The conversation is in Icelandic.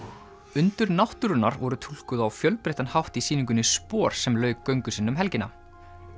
undur náttúrunnar voru túlkuð á fjölbreyttan hátt í sýningunni sem lauk göngu sinni um helgina